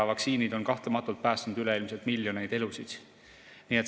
Vaktsiinid on kahtlemata päästnud üleilmselt miljoneid elusid.